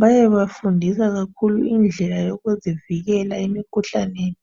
Bayabe befundisa kakhulu indlela yokuzivikela emkhuhlaneni.